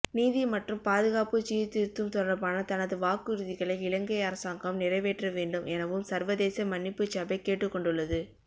நீதி மற்றும் பாதுகாப்புசீர்திருத்தம் தொடர்பான தனது வாக்குறுதிகளை இலங்கை அரசாங்கம் நிறைவேற்றவேண்டும் எனவும் சர்வதேச மன்னிப்புச்சபை கேட்டுக்கொண்டுள்ளது